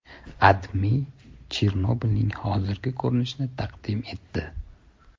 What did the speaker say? AdMe Chernobilning hozirgi ko‘rinishini taqdim etdi.